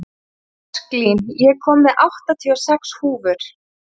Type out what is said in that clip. Ósklín, ég kom með áttatíu og sex húfur!